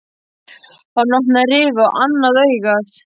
Hann opnaði rifu á annað augað.